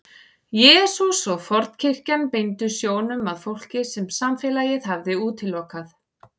Jesús og fornkirkjan beindu sjónum að fólki sem samfélagið hafði útilokað.